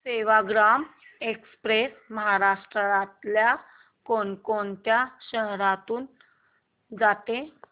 Sevagram express महाराष्ट्रातल्या कोण कोणत्या शहरांमधून जाते